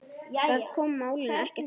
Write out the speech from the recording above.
Það kom málinu ekkert við.